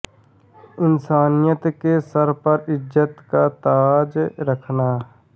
इन्सानियत के सर पर इज़्ज़त का ताज रखना